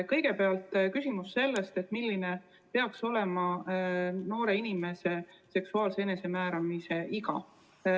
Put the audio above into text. Kõigepealt on küsimus sellest, milline peaks olema noore inimese seksuaalse enesemääramise iga.